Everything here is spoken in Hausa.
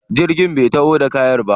Jirgin bai taho da kayan ba.